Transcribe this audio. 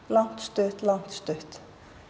langt stutt langt stutt